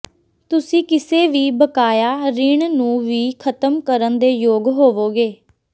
ਤੁਸੀਂ ਕਿਸੇ ਵੀ ਬਕਾਇਆ ਰਿਣ ਨੂੰ ਵੀ ਖਤਮ ਕਰਨ ਦੇ ਯੋਗ ਹੋਵੋਗੇ